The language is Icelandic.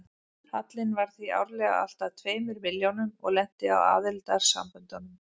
Hallinn var því árlega alltað tveimur milljónum og lenti á aðildarsamböndunum.